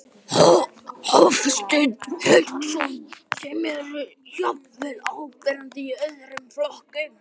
Hafsteinn Hauksson: Sem eru jafnvel áberandi í öðrum flokkum?